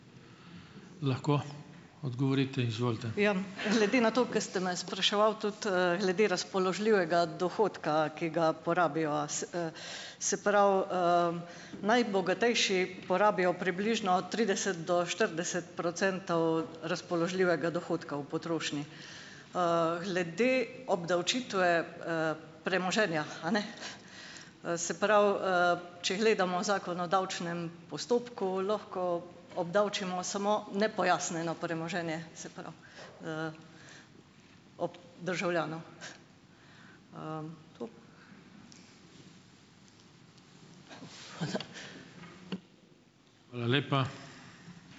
Glede na to, ke ste me spraševali tudi, glede razpoložljivega dohodka, ki ga porabijo. Se pravi, najbogatejši porabijo približno trideset do štirideset procentov razpoložljivega dohodka v potrošnji. Glede obdavčitve, premoženja, a ne, se pravi, če gledamo zakon o davčnem postopku, lahko obdavčimo samo nepojasnjeno premoženje, se pravi, državljanov.